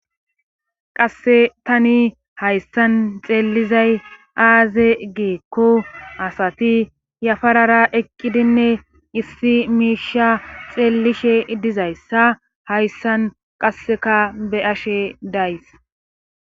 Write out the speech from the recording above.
Qasse tani hayssan xeellizay aaze geekko asati yafarara eqqidinne issi miisha xeellishe dizayssa hayssan qasseka be ashe days